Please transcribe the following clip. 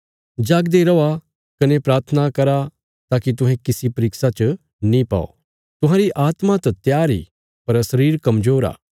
जागदे रौआ कने प्राथना करा ताकि तुहें किसी परीक्षा च नीं पौ तुहांरी आत्मा त त्यार इ पर शरीर कमजोर आ